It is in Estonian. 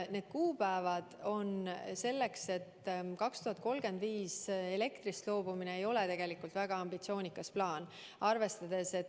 Need tähtajad aga – aastaks 2035 põlevkivielektrist loobumine ei ole tegelikult väga ambitsioonikas plaan.